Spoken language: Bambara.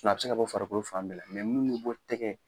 Nɔ a bɛ se ka bɔ farikolo fan bɛɛ la mun be bɔ tɛgɛ